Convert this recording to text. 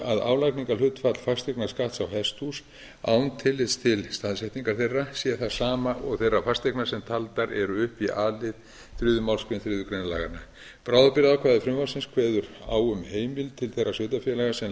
að álagningarhlutfall fasteignaskatts á hesthús án tillits til staðsetningar þeirra sé það sama og þeirra fasteigna sem taldar eru upp í a lið þriðju málsgrein þriðju grein laganna bráðabirgðaákvæði frumvarpsins kveður á um heimild til þeirra sveitarfélaga sem